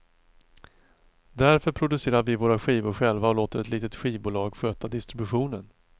Därför producerar vi våra skivor själva och låter ett litet skivbolag sköta distributionen.